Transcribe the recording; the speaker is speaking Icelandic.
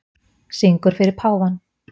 Syngur fyrir páfann